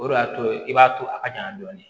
O de y'a to i b'a to a ka ɲa dɔɔni